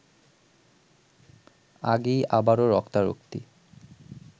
আগেই আবারও রক্তারক্তি